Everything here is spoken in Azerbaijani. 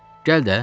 Gəl də!